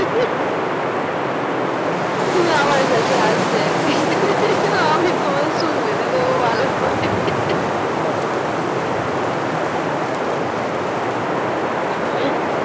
তুমি আমার কাছে আসবে একদিন আমি তোমার চুল বেঁধে দ্য ভালো করে এমনিতে বোরো একদম কোমর ছাড়িয়ে চলে গেছে